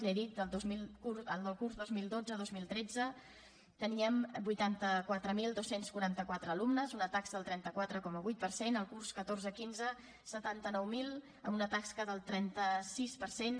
l’hi he dit el curs dos mil dotze dos mil tretze teníem vuitanta quatre mil dos cents i quaranta quatre alumnes una taxa del trenta quatre coma vuit per cent el curs catorze quinze setanta nou mil amb una taxa del trenta sis per cent